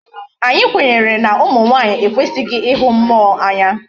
Anyi kwenyere na umu nwanyi ekwesighi ihu mmuo Anya